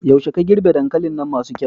Yaushe ka girbe dankalin nan masu kyau?